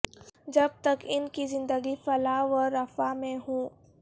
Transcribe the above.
جب تک ان کی زندگی فلاح و رفاہ میں ہو